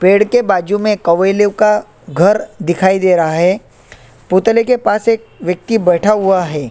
पेड़ के बाजू में कवेलो का घर दिखाई दे रहा है पुतले के पास एक व्यक्ति बैठा हुआ है।